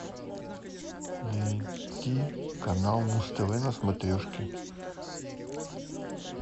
найти канал муз тв на смотрешке